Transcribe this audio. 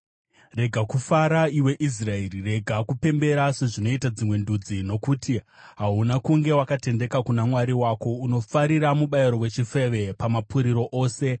Rega kufara, iwe Israeri; rega kupembera sezvinoita dzimwe ndudzi. Nokuti hauna kunge wakatendeka kuna Mwari wako; unofarira mubayiro wechifeve, pamapuriro ose.